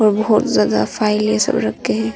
और बहुत ज्यादा फाइलें सब रखे हैं।